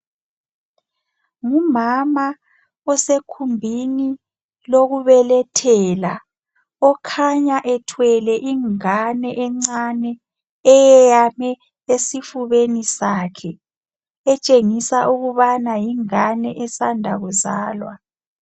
Umama osegumbini lokubelethela okhanya ethwele ingane encane eyame esifubeni sakhe entshengisa ukubana yingane esanda kuzalwa